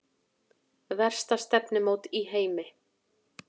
Versta stefnumót í heimi